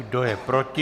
Kdo je proti?